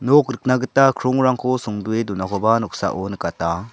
nok rikna gita krongrangko songdoe donakoba noksao nikata.